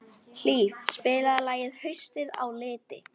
Hlíf, spilaðu lagið „Haustið á liti“.